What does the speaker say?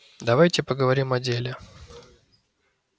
давайте поговорим о деле